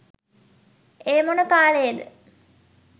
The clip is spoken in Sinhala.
ඒ මොන කාලයේද